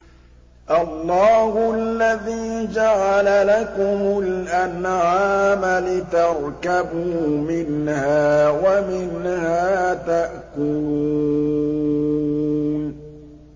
اللَّهُ الَّذِي جَعَلَ لَكُمُ الْأَنْعَامَ لِتَرْكَبُوا مِنْهَا وَمِنْهَا تَأْكُلُونَ